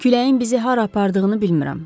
Küləyin bizi hara apardığını bilmirəm.